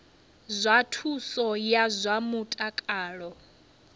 zwa thuso ya zwa mutakalo